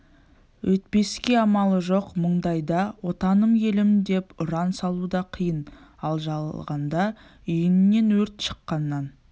өйтпеске амалы жоқ мұндайда отаным елім деп ұран салу да қиын ал жалғанда үйіңнен өрт шыққаннан